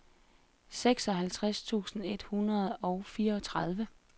seksoghalvtreds tusind et hundrede og fireogtredive